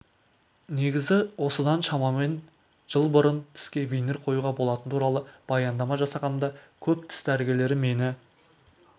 негізі осыдан шамамен жыл бұрын тіске винир қоюға болатыны туралы баяндама жасағанымда көп тіс дәрігерлері мені